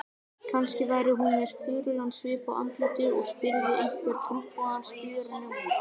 Kannski væri hún með spurulan svip á andlitinu og spyrði einhvern trúboðann spjörunum úr.